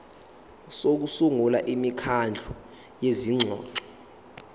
sokusungula imikhandlu yezingxoxo